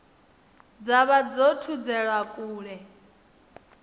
dza vha dzo thudzelwa kule